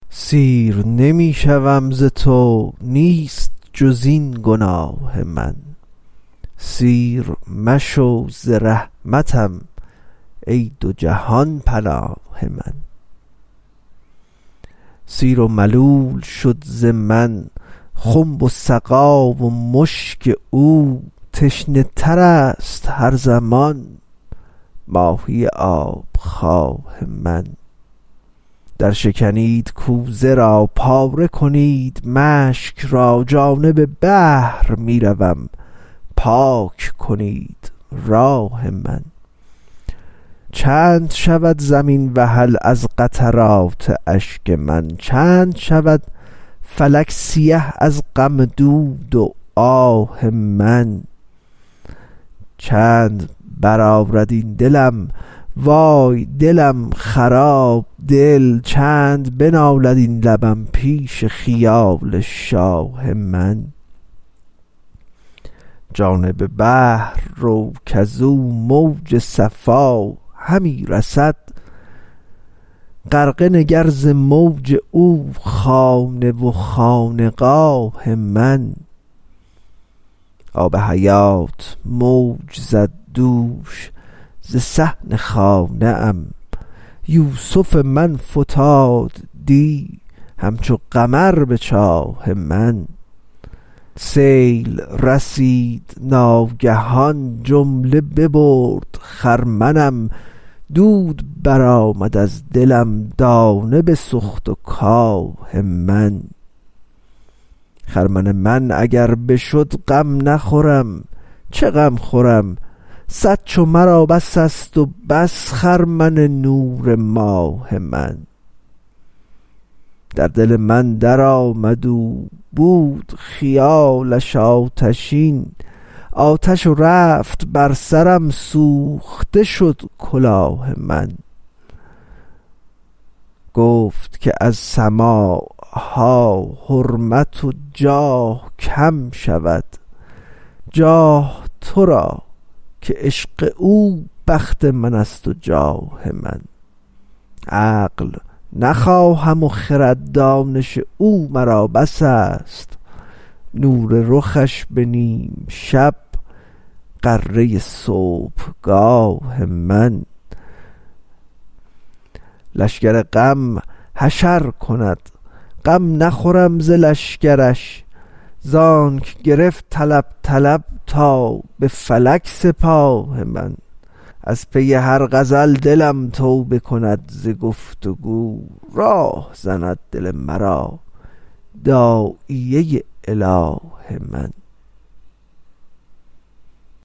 سیر نمی شوم ز تو نیست جز این گناه من سیر مشو ز رحمتم ای دو جهان پناه من سیر و ملول شد ز من خنب و سقا و مشک او تشنه تر است هر زمان ماهی آب خواه من درشکنید کوزه را پاره کنید مشک را جانب بحر می روم پاک کنید راه من چند شود زمین وحل از قطرات اشک من چند شود فلک سیه از غم و دود آه من چند بزارد این دلم وای دلم خراب دل چند بنالد این لبم پیش خیال شاه من جانب بحر رو کز او موج صفا همی رسد غرقه نگر ز موج او خانه و خانقاه من آب حیات موج زد دوش ز صحن خانه ام یوسف من فتاد دی همچو قمر به چاه من سیل رسید ناگهان جمله ببرد خرمنم دود برآمد از دلم دانه بسوخت و کاه من خرمن من اگر بشد غم نخورم چه غم خورم صد چو مرا بس است و بس خرمن نور ماه من در دل من درآمد او بود خیالش آتشین آتش رفت بر سرم سوخته شد کلاه من گفت که از سماع ها حرمت و جاه کم شود جاه تو را که عشق او بخت من است و جاه من عقل نخواهم و خرد دانش او مرا بس است نور رخش به نیم شب غره صبحگاه من لشکر غم حشر کند غم نخورم ز لشکرش زانک گرفت طلب طلب تا به فلک سپاه من از پی هر غزل دلم توبه کند ز گفت و گو راه زند دل مرا داعیه اله من